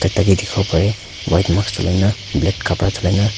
tai ke dikhi bole pare White mask cholai ne black kapra cholai na.